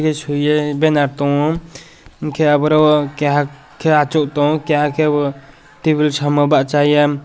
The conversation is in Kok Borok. shuiye banner tongo hinkhe aborok keha achuk tongo keha khe bo table samow bachaye.